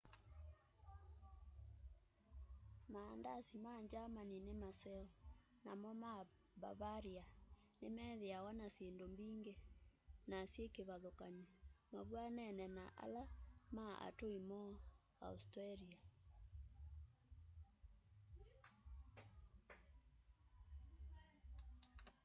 maandasi ma germany ni maseo namo ma bavaria nimethiawa na syindu mbingi na syikivathukany'o mavw'anene na ala ma atui moo austria